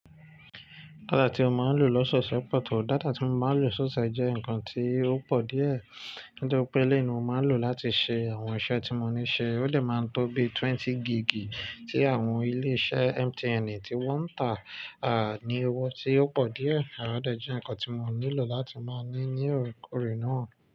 Data tí ó máa ń lò lọ́seọ̀se pọ̀ tó, data tí mo máa ń lò so fe jẹ́ nǹkan tí ó pọ̀ díẹ̀, nítori pé eléèyi ní mo máa lò láti ṣe àwọn iṣẹ́ tí mo ní ṣe, ó dè máa ń tó bi twenty gigi tí àwọn ilé-iṣẹ́ MTN tí wọ́n ń tà, ní owó tí ó pọ̀ díẹ̀, de jẹ́ nǹkan tí mo nílò láti máa ní ní orekórè náà.